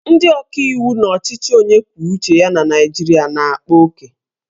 Ndị ọkaiwu n'ọchịchị onye kwuo uche ya na Naijiria na-akpa oke